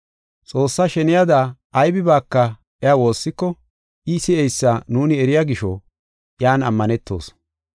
Xoossaa sheniyada aybibaaka iya woossiko, I si7eysa nuuni eriya gisho iyan ammanetoos.